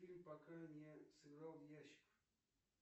фильм пока не сыграл в ящик